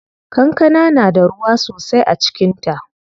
Kankana na da ruwa sosai a cikin ta.